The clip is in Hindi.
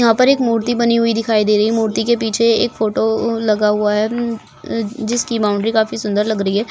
यहाँ पर एक मूर्ति बनी हुई दिखाई दे रही हैं मूर्ति के पीछे एक फोटो लगा हुआ हैं अहः जिसकी बाउंड्री काफी सुन्दर लग रही हैं।